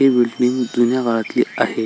हि बिल्डींग जुन्या काळातली आहे.